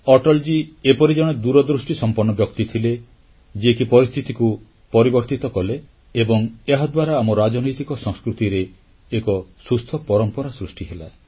ଅଟଲଜୀ ଏପରି ଜଣେ ଦୂରଦୃଷ୍ଟିସମ୍ପନ୍ନ ବ୍ୟକ୍ତି ଥିଲେ ଯିଏକି ପରିସ୍ଥିତିକୁ ପରିବର୍ତ୍ତନ କଲେ ଏବଂ ଏହାଦ୍ୱାରା ଆମ ରାଜନୈତିକ ସଂସ୍କୃତିରେ ଏକ ସୁସ୍ଥ ପରମ୍ପରା ସୃଷ୍ଟି ହେଲା